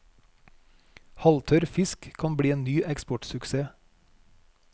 Halvtørr fisk kan bli en ny eksportsuksess.